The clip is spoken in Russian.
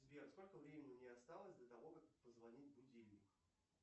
сбер сколько времени мне осталось до того как позвонит будильник